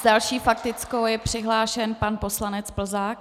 S další faktickou je přihlášen pan poslanec Plzák.